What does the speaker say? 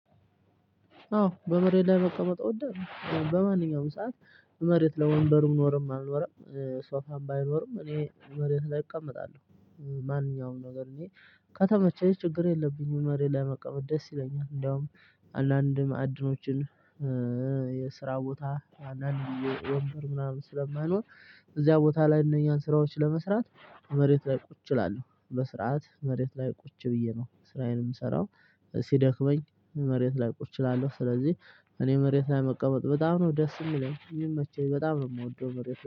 አዎ በመሬት ላይ በቃ መቀመጥ እወዳለሁ። በማንኛውም ሰዓት መሬት ላይ ወንበሩም ኖረም አልኖርም ሶፋም ባይኖርም እኔ መሬት ላይ እቀመጣለሁ። ማንኛውም ነገር እኔ ከተመቸኝ ችግር የለብኝም። መሬት ላይ መቀመጥ ደስ ይለኛል። እንደውም አንዳንድ ማዕድኖችን የስራ ቦታ አንዳንድ ወንበር ምናምን ስለማይኖር እዚያ ቦታ ላይ እነኛን ስራዎች ለመስራት መሬት ላይ ቁጭ እላለሁ። በስርዓት መሬት ላይ ቁጭ ብዬ ነው ስራዬን የምሰራው ሲደክመኝ መሬት ላይ ቁጭ እላለሁ። ስለዚህ እኔ መሬት ላይ መቀመጥ በጣም ነው ደስ የሚለኝ የሚመቸኝ በጣም ነው የምወደው መሬት